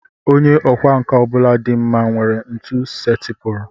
Onye ọkwá nkà ọ bụla dị mma nwere ntu setịpụrụ